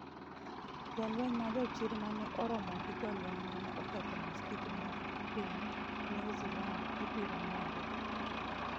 Jolweny majochir ma ne oromo gi jolweny ma ne oketho maskiti mar piny New Zealand ibiro ng’ere